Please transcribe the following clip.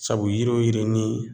Sabu yiri o yiri ni